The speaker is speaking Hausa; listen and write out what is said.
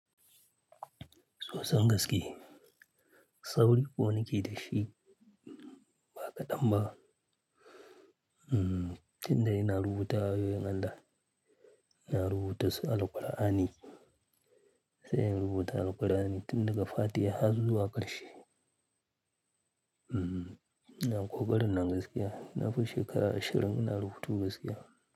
Soson gaske, sauri ko nake da shi ba kaɗan ba. Hmm, tun da ina rubuta ayoyin Allah, ina rubuta su Al-Qur'ani, sai in rubuta Al-Qur'ani tun daga Fatiha har zuwa karshe. Hmm, ina ƙoƙarin nan gaskiya. Nafi shekara ashirin ina rubutu gaskiya.